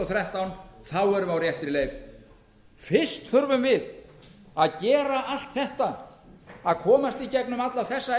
þrettán þá erum við á réttri leið fyrst þurfum við að gera allt þetta að komast í gegnum alla þessa